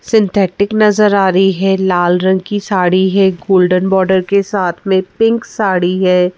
Synthetic नजर आ रही है लाल रंग की साड़ी है गोल्डन बॉर्डर के साथ में पिंक साड़ी है।